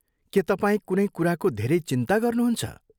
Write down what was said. के तपाईँ कुनै कुराको धेरै चिन्ता गर्नुहुन्छ?